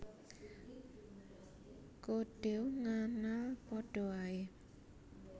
Kodew nganal padha ae